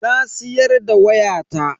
Na siyar da wayata.